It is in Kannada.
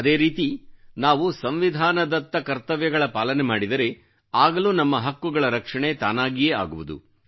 ಅದೇ ರೀತಿ ಒಂದುವೇಳೆ ನಾವು ಸಂವಿಧಾನದತ್ತ ಕರ್ತವ್ಯಗಳಪಾಲನೆ ಮಾಡಿದರೆ ಆಗಲೂ ನಮ್ಮ ಹಕ್ಕುಗಳ ರಕ್ಷಣೆ ತಾನಾಗಿಯೇ ಆಗುವುದು